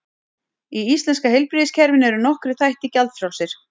Í íslenska heilbrigðiskerfinu eru nokkrir þættir gjaldfrjálsir.